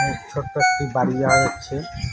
ছোট্ট একটি বাড়ি দেখা যাচ্ছে।